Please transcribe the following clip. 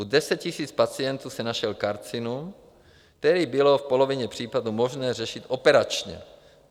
U 10 000 pacientů se našel karcinom, který bylo v polovině případů možné řešit operačně.